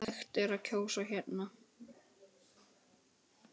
Hægt er að kjósa hérna.